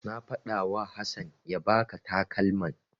Na faɗawa Hassan ya baka takalman.